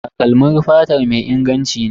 Takalmin fatar mai inganci ne.